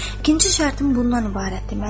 İkinci şərtim bundan ibarətdir: